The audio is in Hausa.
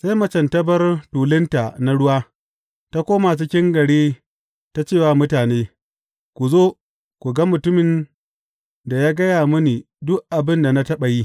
Sai macen ta bar tulunta na ruwa, ta koma cikin gari ta ce wa mutane, Ku zo, ku ga mutumin da ya gaya mini duk abin da na taɓa yi.